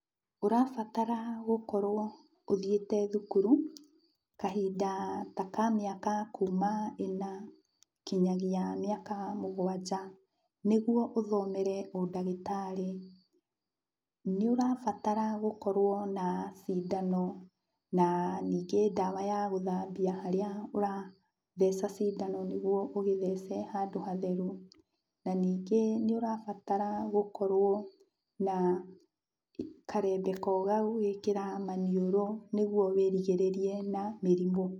Ũrabatara gũkorwo ũthiĩte thukuru kahinda ka ta mĩaka kuma ĩna kinyagia mĩaka mũgwanj,a nĩguo ũthomere ũndagĩtarĩ. Nĩũrabatara gũorwo na cindano na ningĩ ndawa ya gũthambia harĩa ũratheca cindano nĩguo ũgĩtehce handũ hatheru. Na ningĩ nĩũrabatara gũkorwo na karembeko ga gũgĩkĩra maniũrũ nĩguo wĩrigĩrĩrie na mĩrimũ.